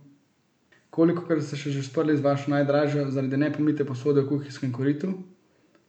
Kolikokrat ste se že sprli z vašo najdražjo zaradi nepomite posode v kuhinjskem koritu?